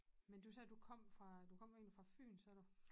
Men du sagde du kom fra du kom egentlig fra Fyn sagde du